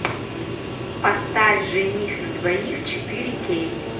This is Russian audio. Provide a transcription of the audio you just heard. поставь жених на двоих четыре кей